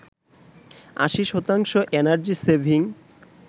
৮০ শতাংশ energy saving